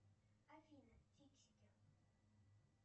афина фиксики